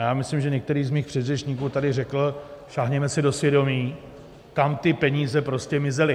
A já myslím, že některý z mých předřečníků tady řekl, sáhněme si do svědomí, kam ty peníze prostě mizely.